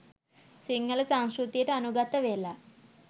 සිංහල සංස්කෘතියට අනුගත වෙලා